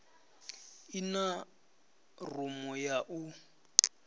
i na rumu ya u